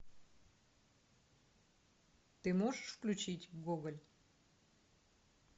ты можешь включить гоголь